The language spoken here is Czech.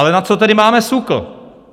Ale na co tedy máme SÚKL?